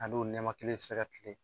A n'o nɛma kelen bɛ se ka tilen